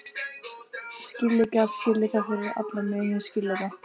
Skýrleika, skýrleika, fyrir alla muni skýrleika!